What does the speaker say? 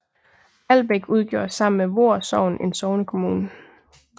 Albæk udgjorde sammen med Voer Sogn en sognekommune